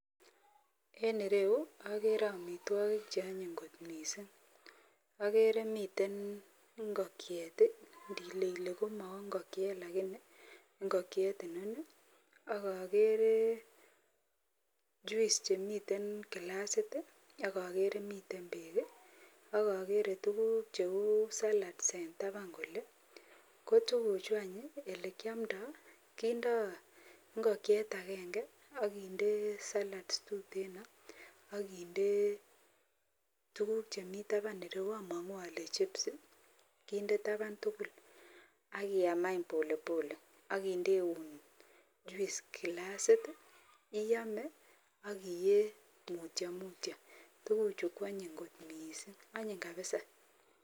En ireu akere amitwogik cheonyin kot missing. Akere miten ngokiet, ndile ile komangokiet lakini, ngokiet inoni, ak akere juice chemiten kilasit ak akere miten beek ak akere miten tuguk cheu salads en taban yu. Ko tukuchu ole kyomdo, kindo ngokiet agenge akinde salads tuten akinde tuguk chemi taban ireyu among'u ole chips kinde taban tugul akiyam any pole pole akindeun juice kilasit, iyome akiyee mutyo mutyo, tuguchu kwonyin kot missing, onyin kabisa.